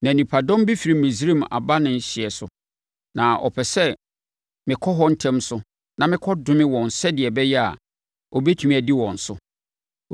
Na nnipadɔm bi firi Misraim aba ne hyeɛ so, na ɔpɛ sɛ mekɔ hɔ ntɛm so na mekɔdome wɔn sɛdeɛ ɛbɛyɛ a, ɔbɛtumi adi wɔn so.”